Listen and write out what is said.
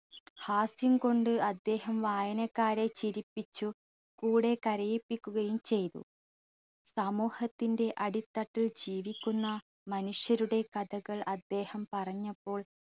ഹാസ്യം കൊണ്ട് അദ്ദേഹം വായനക്കാരെ ചിരിപ്പിച്ചു കൂടെ കരയിപ്പിക്കുകയും ചെയ്തു. സമൂഹത്തിന്റെ അടിത്തട്ടിൽ ജീവിക്കുന്ന മനുഷ്യരുടെ കഥകൾ അദ്ദേഹം പറഞ്ഞപ്പോൾ